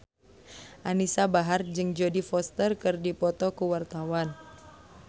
Anisa Bahar jeung Jodie Foster keur dipoto ku wartawan